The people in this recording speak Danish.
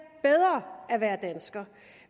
bedre at være dansker